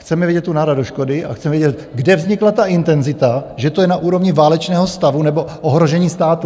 Chceme vidět tu náhradu škody a chceme vědět, kde vznikla ta intenzita, že to je na úrovni válečného stavu nebo ohrožení státu.